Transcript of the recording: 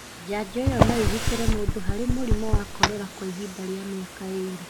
Njajo ĩyo no ĩgitĩre mũndũ harĩ mũrimũ wa korera kwa ihinda rĩa mĩaka ĩĩrĩ.